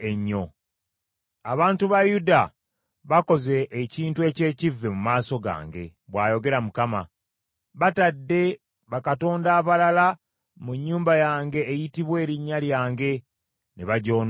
“Abantu ba Yuda bakoze ekintu eky’ekivve mu maaso gange, bw’ayogera Mukama . Batadde bakatonda abalala mu nnyumba yange eyitibwa erinnya lyange ne bagyonoona.